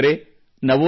ಸ್ನೇಹಿತರೇ